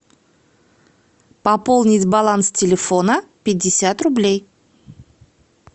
пополнить баланс телефона пятьдесят рублей